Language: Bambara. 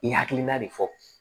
I hakilina de fɔ